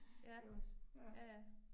Ja, ja ja